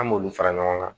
An m'olu fara ɲɔgɔn kan